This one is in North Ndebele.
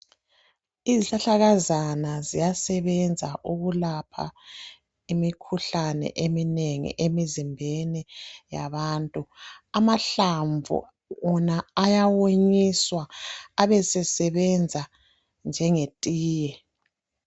Izihlahlakazana ziyasebenza ukulapha imikhuhlane eminengi imizimbeni yabantu amahlamvu wona ayawonyiswa abesebenza njengetiye.